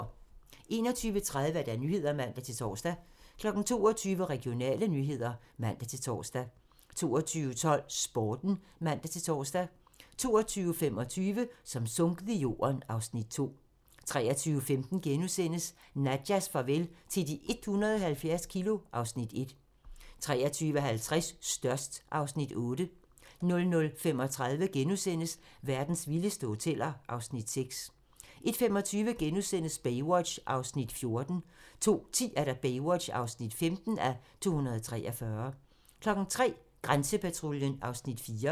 21:30: Nyhederne (man-tor) 22:00: Regionale nyheder (man-tor) 22:12: Sporten (man-tor) 22:25: Som sunket i jorden (Afs. 2) 23:15: Nadjas farvel til de 170 kilo (Afs. 1)* 23:50: Størst (Afs. 8) 00:35: Verdens vildeste hoteller (Afs. 6)* 01:25: Baywatch (14:243)* 02:10: Baywatch (15:243) 03:00: Grænsepatruljen (Afs. 4)